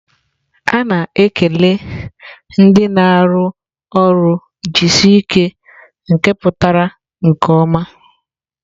A na-ekele ndị na-arụ ọrụ"jisike nke pụtara nke ọma."